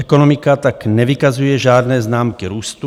Ekonomika tak nevykazuje žádné známky růstu.